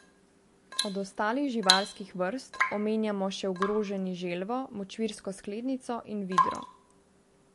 Od ostalih živalskih vrst omenjamo še ogroženi želvo močvirsko sklednico in vidro.